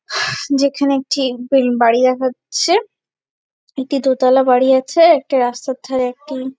যেখানে একটি বিল বাড়ি দেখাচ্ছে। একটি দোতালা বাড়ি আছে একটি রাস্তার ধারে একটি ।